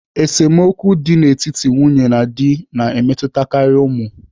Esemokwu dị n'etiti nwunye na di na-emetụtakarị ụmụ.